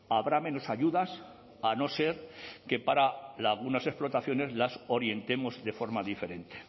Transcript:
habrá menos ayudas a no ser que para algunas explotaciones las orientemos de forma diferente